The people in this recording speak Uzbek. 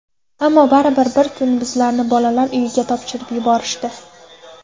Ammo baribir bir kun bizlarni bolalar uyiga topshirib yuborishdi.